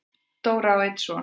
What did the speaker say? Dóra á einn son.